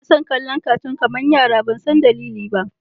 Ina son kallon catoon kamar yara ban san dalili ba.